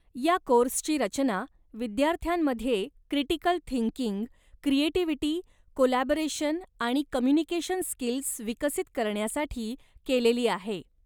या कोर्सची रचना विद्यार्थ्यांमध्ये क्रिटीकल थिंकिंग, क्रिएटिव्हिटी, कोलॅबोरेशन आणि कम्युनिकेशन स्किल्स विकसित करण्यासाठी केलेली आहे.